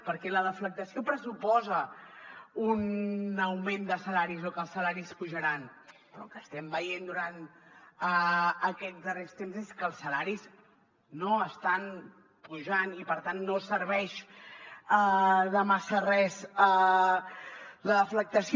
perquè la deflactació pressuposa un augment de salaris o que els salaris pujaran però el que estem veient durant aquests darrers temps és que els salaris no estan pujant i per tant no serveix de massa res la deflactació